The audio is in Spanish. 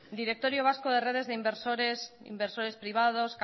directorio vasco de redes de inversores privados